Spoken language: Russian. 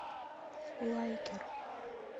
лайкер